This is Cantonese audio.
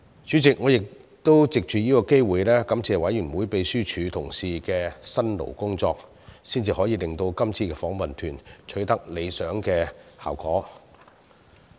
主席，我亦藉此機會感謝秘書處同事的辛勞工作，才可令今次的訪問團取得理想效果。